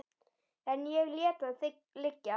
En ég lét það liggja.